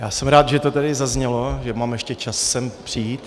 Já jsem rád, že to tady zaznělo, že mám ještě čas sem přijít.